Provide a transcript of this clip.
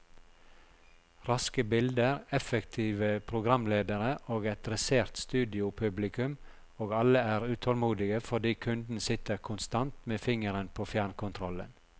Raske bilder, effektive programledere og et dressert studiopublikum, og alle er utålmodige fordi kunden sitter konstant med fingeren på fjernkontrollen.